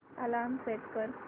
alarm set कर